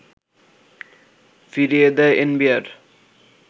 ফিরিয়ে দেয় এনবিআর